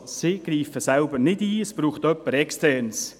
Sie greift selbst nicht ein, es braucht dazu jemand Externes.